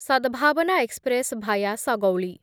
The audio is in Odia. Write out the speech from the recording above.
Sadbhavna express via Sagauli